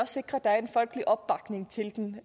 sikre at der er en folkelig opbakning til den